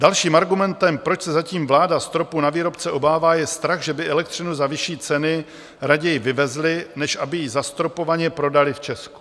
Dalším argumentem, proč se zatím vláda stropu na výrobce obává, je strach, že by elektřinu za vyšší ceny raději vyvezli, než aby ji zastropovaně prodali v Česku.